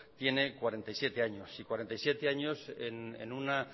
tiene cuarenta y siete años y cuarenta y siete años en una